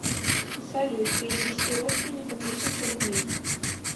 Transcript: салют перевести родственнику тысячу рублей